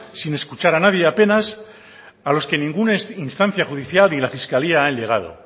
sin escuchar a nadie apenas a los que ninguna instancia judicial y a la fiscalía han llegado